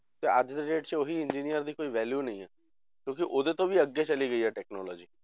ਤੇ ਅੱਜ ਦੇ date 'ਚ ਉਹੀ engineer ਦੀ ਕੋਈ value ਨੀ ਹੈ, ਕਿਉਂਕਿ ਉਹਦੇ ਤੋਂ ਵੀ ਅੱਗੇ ਚਲੇ ਗਈ ਹੈ technology